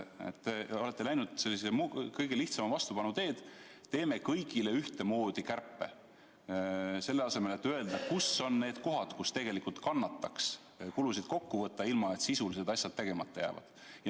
Te olete läinud kõige lihtsama vastupanu teed, et teeme kõigile ühtemoodi kärpe, selle asemel et öelda, kus on need kohad, kus tegelikult kannataks kulusid kokku võtta, ilma et sisulised asjad tegemata jääksid.